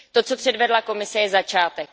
To, co předvedla Komise, je začátek.